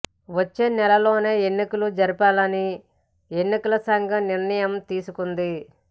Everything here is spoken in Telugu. వచ్చే నెలలోనే ఎన్నికలు జరిపించాలని ఎన్నికలు సంఘము నిర్ణయం తీసుకుంది